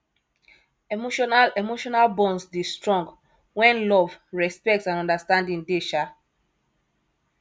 emotional emotional bonds dey strong when love respect and understanding dey um